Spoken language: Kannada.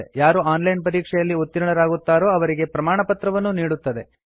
ಯಾರು ಆನ್ ಲೈನ್ ಪರೀಕ್ಷೆಯಲ್ಲಿ ಉತ್ತೀರ್ಣರಾಗುತ್ತಾರೋ ಅವರಿಗೆ ಪ್ರಮಾಣಪತ್ರವನ್ನೂ ನೀಡುತ್ತದೆ